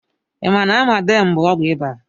I ma na Amatem bụ ọgwụ iba?